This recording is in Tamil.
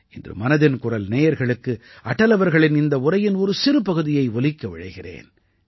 இன்று மனதின் குரல் நேயர்களுக்கு அடல் அவர்களின் இந்த உரையின் ஒரு சிறு பகுதியை ஒலிக்க விழைகிறேன்